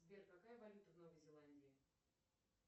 сбер какая валюта в новой зеландии